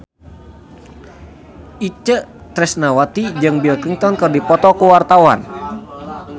Itje Tresnawati jeung Bill Clinton keur dipoto ku wartawan